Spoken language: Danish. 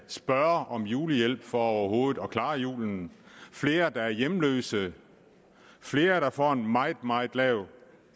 spørge om julehjælp for overhovedet at kunne klare julen flere der er hjemløse flere der får en meget meget lav